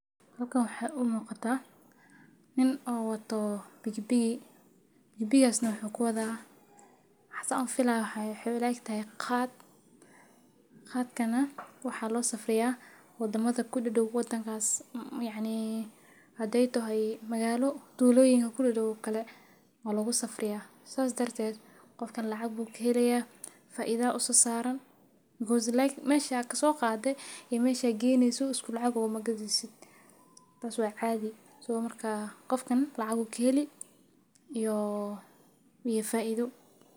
Halkan waxa u muuqata nin oo wato piki piki. piki piki gas na wuxuu ku wadaa xasa u filay haa laak iin taayi khaad. Khaad kana waxaa loo safraya waddamada ku dho dhow kuwo tan kaas um yani adeyto hay magaalo duulooyinka ku dhex dhow kale oo lagu safraya saas darteed qofkan lacag buug keelaya faa iida u sasaaran go'o si laakiin meesha ka soo qaaday i meesha geenee suus ku lacago ma gadiisid. Taas wacadiisu markaa qofkani lacagu keeli ioo iyo faa iido.